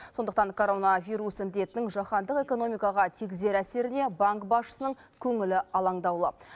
сондықтан коронавирус індетінің жаһандық экономикаға тигізер әсеріне банк басшысының көңілі алаңдаулы